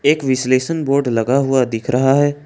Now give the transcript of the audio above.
एक विश्लेषण बोर्ड लगा हुआ दिख रहा है।